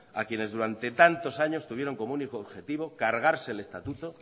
a quienes durante tantos años tuvieron como único objetivo cargarse el estatuto